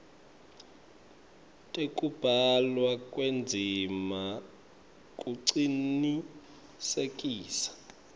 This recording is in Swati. tekubhalwa kwendzima kucinisekisa